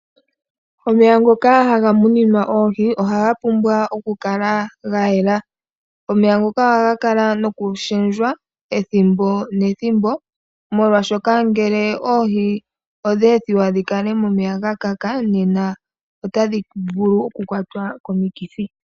Omeya ngoka haga muninwa oohi ohaga pumbwa oku kala gayela. Omeya ngoka ohaga kala noku shendjwa ethimbo nethimbo molwashoka ngele oohi odha ethiwa dhikale momeya gakaka otadhi vulu oku kwatwa komikithi.